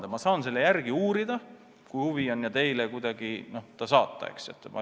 Aga ma saan selle järele uurida, kui huvi on, ja teile vastuse saata.